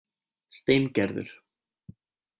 Steingerður